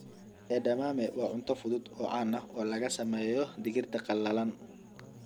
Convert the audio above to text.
Edamame waa cunto fudud oo caan ah oo laga sameeyo digirta qallalan.